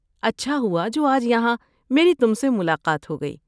اچھا ہوا جو آج یہاں میری تم سے ملاقات ہو گئی۔